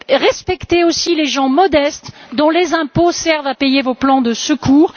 Respectez aussi les gens modestes dont les impôts servent à payer vos plans de secours!